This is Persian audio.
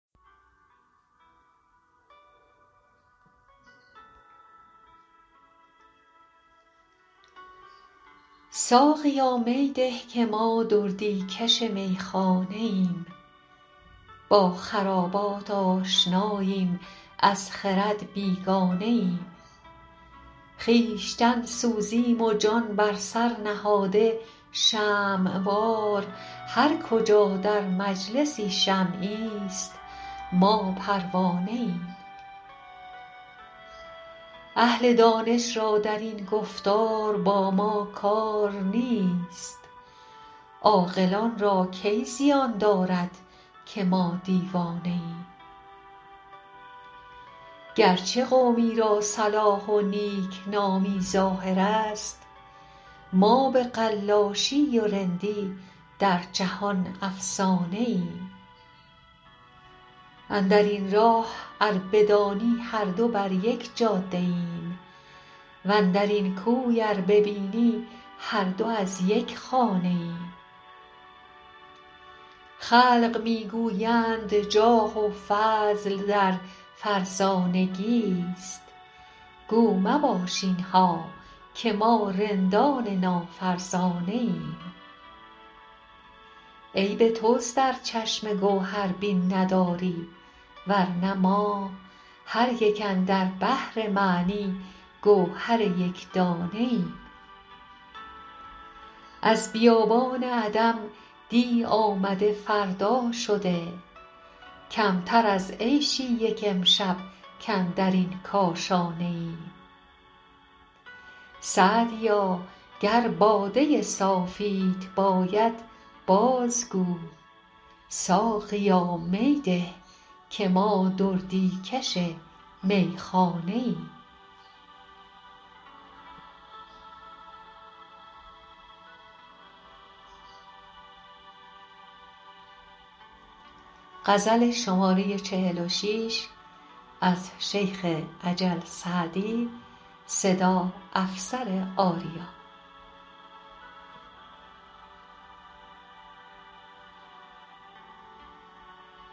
ساقیا می ده که ما دردی کش میخانه ایم با خرابات آشناییم از خرد بیگانه ایم خویشتن سوزیم و جان بر سر نهاده شمع وار هر کجا در مجلسی شمعیست ما پروانه ایم اهل دانش را در این گفتار با ما کار نیست عاقلان را کی زیان دارد که ما دیوانه ایم گرچه قومی را صلاح و نیکنامی ظاهر است ما به قلاشی و رندی در جهان افسانه ایم اندر این راه ار بدانی هر دو بر یک جاده ایم واندر این کوی ار ببینی هر دو از یک خانه ایم خلق می گویند جاه و فضل در فرزانگیست گو مباش اینها که ما رندان نافرزانه ایم عیب توست ار چشم گوهربین نداری ورنه ما هر یک اندر بحر معنی گوهر یکدانه ایم از بیابان عدم دی آمده فردا شده کمتر از عیشی یک امشب کاندر این کاشانه ایم سعدیا گر باده صافیت باید باز گو ساقیا می ده که ما دردی کش میخانه ایم